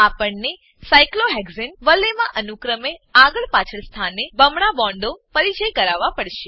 આપણને સાયક્લોહેક્સાને સાયક્લોહેક્ઝેન વલયમાં અનુક્રમે આગળ પાછળ સ્થાને બમણા બોન્ડો પરિચય કરાવવા પડશે